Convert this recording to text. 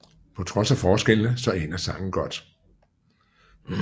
På trods af forskellene så ender sangen godt